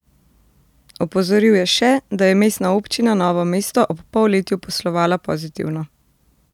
Opozoril je še, da je Mestna občina Novo mesto ob polletju poslovala pozitivno.